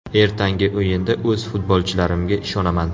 Ertangi o‘yinda o‘z futbolchilarimga ishonaman.